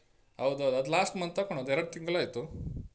ಹೌದ್ ಹೌದು ಅದ್ last month ತಕೊಂಡದ್ದು ಎರಡ್ ತಿಂಗ್ಳಾಯ್ತು.